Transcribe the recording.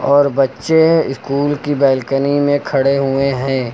और बच्चे स्कूल की बालकनी में खड़े हुए हैं।